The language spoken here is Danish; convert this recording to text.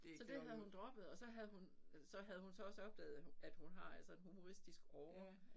Så det havde hun droppet og så havde hun så havde hun så også opdaget at hun at hun har altså en humoristisk åre